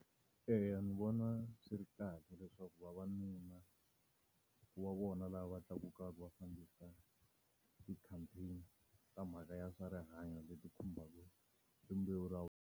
Eya ndzi vona swi ri kahle leswaku vavanuna, ku va vona lava tlakukaka va fambisa ti-campaign ta mhaka ya swa rihanyo leti khumbaka rimbewu ra .